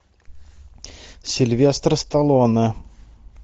сильвестр сталлоне